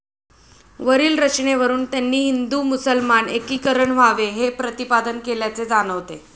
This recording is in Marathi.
वरील रचनेवरून त्यांनी हिंदू मुसलमान एकीकरण व्हावे हे हे प्रतिपादन केल्याचे जाणवते